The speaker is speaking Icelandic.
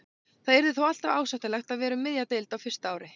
Það yrði þó alltaf ásættanlegt að vera um miðja deild á fyrsta ári.